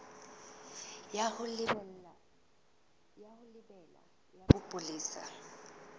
ya ho lebela ya bopolesa